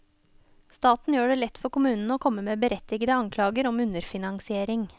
Staten gjør det lett for kommunene å komme med berettigede anklager om underfinansiering.